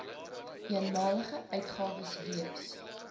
eenmalige uitgawes wees